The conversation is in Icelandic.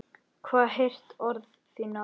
Hef heyrt orð þín áður.